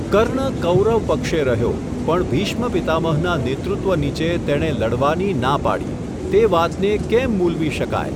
કર્ણ કૌરવ પક્ષે રહ્યો, પણ ભીષ્મ પિતામહના નેતૃત્વ નીચે તેણે લડવાની ના પાડી, તે વાતને કેમ મૂલવી શકાય?